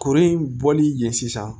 Kuru in bɔli ye sisan